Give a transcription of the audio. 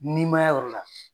Ninmaya yɔrɔ la.